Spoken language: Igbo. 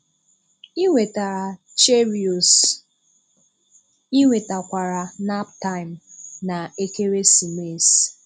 Ị nwetara cheerios, ị nwetakwara naptime, na ekeresimesi